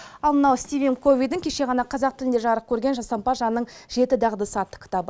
ал мынау стивен ковидің кеше ғана қазақ тілінде жарық көрген жасампаз жанның жеті дағдысы атты кітабы